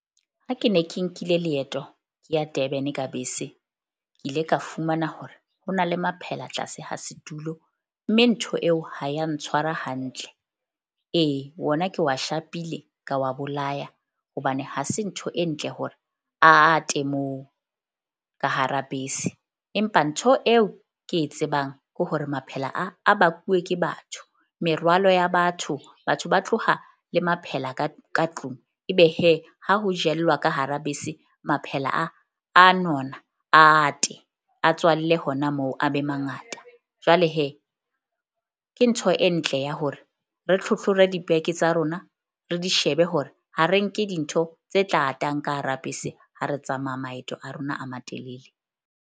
Ha ke ne ke nkile leeto ke ya Durban ka bese, ke ile ka fumana hore ho na le maphela tlase ha setulo. Mme ntho eo ha ya ntshwara hantle ee, wona ke wa shapile ka wa bolaya. Hobane ha se ntho e ntle hore a ate moo ka hara bese. Empa ntho eo ke e tsebang ke hore maphela a a bakuwe ke batho, merwalo ya batho. Batho ba tloha le maphela ka tlung. Ebe ha ho jellwa ka hara bese, maphela a a nona a ate a tswalle hona moo, a be mangata. Jwale ke ntho e ntle ya hore re tlhotlhore dibeke tsa rona re di shebe hore ha re nke dintho tse tla atang ka hara bese ha re tsamaya maeto a rona a matelele.